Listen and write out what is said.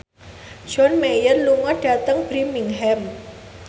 John Mayer lunga dhateng Birmingham